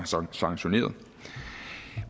så har sanktioneret